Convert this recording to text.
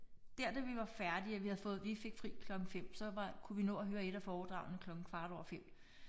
Der da vi var færdige og vi havde fået vi fik fri klokken 5 så var kunne vi nå at høre et af foredragene klokken kvart over 5